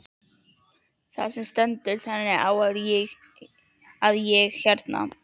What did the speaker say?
Það stendur þannig á að ég hérna.